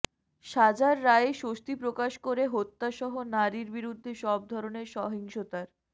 সাজার রায়ে স্বস্তি প্রকাশ করে হত্যাসহ নারীর বিরুদ্ধে সব ধরনের সহিংসতার